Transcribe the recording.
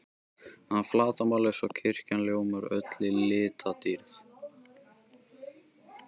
að flatarmáli, svo kirkjan ljómar öll í litadýrð.